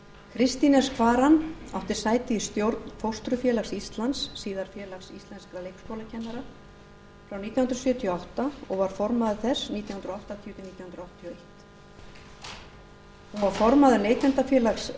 kristín s kvaran átti sæti í stjórn fóstrufélags íslands síðar félags íslenskum leikskólakennara frá nítján hundruð sjötíu og átta og var formaður þess nítján hundruð áttatíu til nítján hundruð áttatíu og eitt hún var formaður neytendafélags